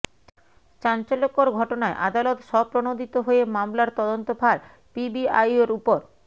চাঞ্চল্যকর ঘটনায় আদালত স্বপ্রণোদিত হয়ে মামলার তদন্তভার পিবিআইর ওপর